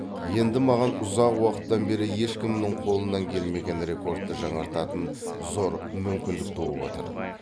енді маған ұзақ уақыттан бері ешкімнің қолынан келмеген рекордты жаңартатын зор мүмкіндік туып отыр